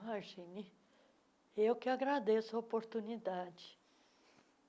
Imagine, eu que agradeço a oportunidade.